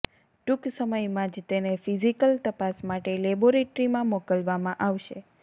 ટૂંક સમયમાં જ તેને ફિઝિકલ તપાસ માટે લેબોરેટરીમાં મોકલવામાં આવશે